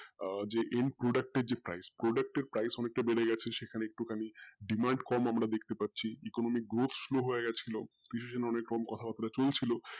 আহ যে end product টা price অনেক টা বেড়ে গাছে যেখানে একটুখানিক demand কম আমরা দেখতে পাচ্ছি economic growth হয়েগেছিলো কিছু জন এরকম কথা বাত্রা চলছিল